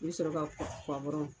I bi sɔrɔ ka puwa